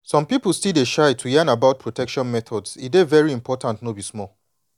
some people still dey shy to yan about protection methods e dey very important no be small.